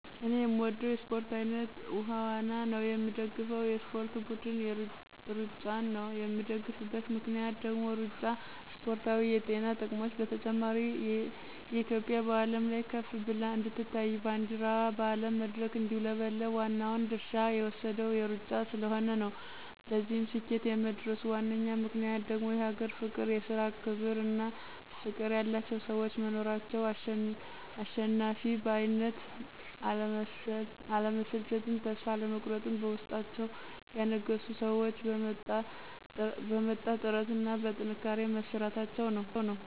እኔ የምወደው የእስፖርት አይነት ዉሀ ዋና ነው። የምደግፈው የእስፖርት ብድን እሩጫን ነው የምደግፍበት ምክንያት ደግሞ እሩጫ እስፖርታዊ የጤና ጥቅሞች በተጨማሪ እትዮጵያ በአለም ላይ ከፍ ብላ እንድትታይ ባንዲረዋ በአለም መድረክ እንዲውለበለብ ዋናውን ድርሻ የወሰደው እሩጫ ስለሆነ ነው። ለዚህ ስኬት የመድረሱ ዋነኛ ምክንያት ደግሞ የሀገር ፍቅር፣ የስራ ክብር እና ፍቅር ያላቸው ሰዎች መኖራቸው፣ አልሸነፍ ባይነትን፣ አለመሰልቸትን ተስፋ አለመቁረጥን በውስጣቸው ያነገቡ ሰዎች በመጣ ጥረት እና በጥንካሬ መስራታቸው ነው።